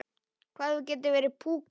Hvað þú getur verið púkó!